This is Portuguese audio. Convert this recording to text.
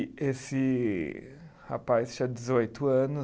E esse rapaz tinha dezoito anos